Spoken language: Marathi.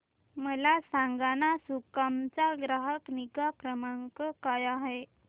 मला सांगाना सुकाम चा ग्राहक निगा क्रमांक काय आहे